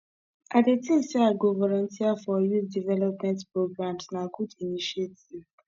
i dey think say i go volunteer for youth development programs na good initiative